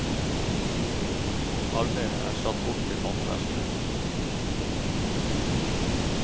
Arbeidet er satt bort til håndverkere.